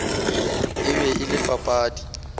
e be e le papadi